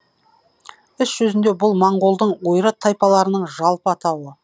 іс жүзінде бұл моңғолдың ойрат тайпаларының жалпы атауы